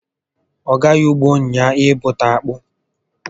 Ọ gaghị ụgbọ ụnyaahụ ịbụta akpụ